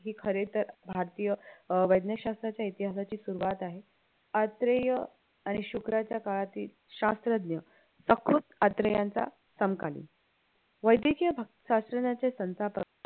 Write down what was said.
हे खरं तर भारतीय अं वैज्ञशास्त्रच्या इतिहासाची सुरवात आहे अत्रेय आणि शुक्राच्या काळातील शास्त्रज्ञ अत्रेयांचा समकालीन वैदकीय शास्त्रज्ञाचे संस्थापक